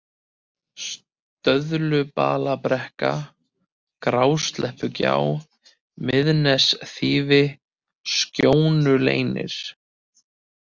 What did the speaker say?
Stöðulbalabrekka, Grásleppugjá, Miðnesþýfi, Skjónuleynir